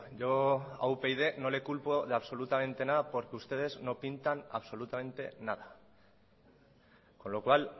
yo a upyd no le culpo de absolutamente nada porque ustedes no pintan absolutamente nada con lo cual